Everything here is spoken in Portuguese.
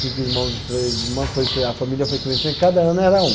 Cinco irmãos e três irmãs, foi cria, a família foi crescendo, cada ano era um.